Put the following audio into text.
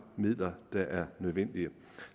midler der er nødvendige